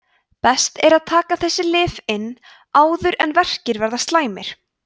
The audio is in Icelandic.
best er að taka þessi lyf inn áður en verkir verða slæmir